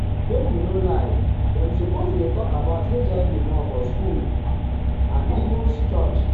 make we no lie dem suppose dey talk about hiv more for school um school um and even for church.